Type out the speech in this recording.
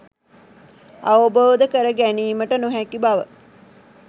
අවබෝධ කර ගැනීමට නොහැකි බව